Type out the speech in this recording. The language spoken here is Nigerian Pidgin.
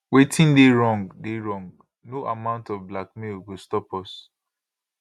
wetin dey wrong dey wrong no amount of blackmail go stop us